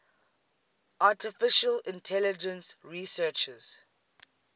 artificial intelligence researchers